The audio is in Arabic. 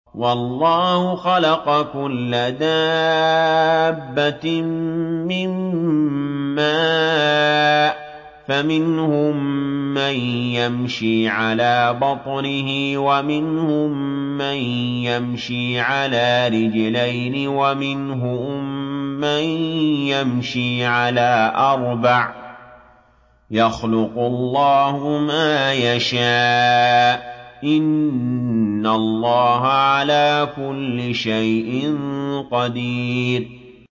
وَاللَّهُ خَلَقَ كُلَّ دَابَّةٍ مِّن مَّاءٍ ۖ فَمِنْهُم مَّن يَمْشِي عَلَىٰ بَطْنِهِ وَمِنْهُم مَّن يَمْشِي عَلَىٰ رِجْلَيْنِ وَمِنْهُم مَّن يَمْشِي عَلَىٰ أَرْبَعٍ ۚ يَخْلُقُ اللَّهُ مَا يَشَاءُ ۚ إِنَّ اللَّهَ عَلَىٰ كُلِّ شَيْءٍ قَدِيرٌ